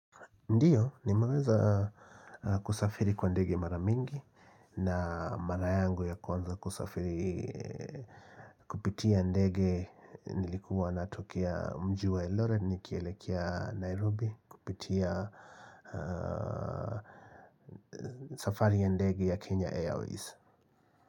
Ndiyo, nimeweza kusafiri kwa ndege mara mingi na mara yangu ya kwanza kusafiri Kupitia ndege nilikuwa natokia Mji wa Eldoret nikielekia Nairobi kupitia safari ya ndege ya Kenya Airways.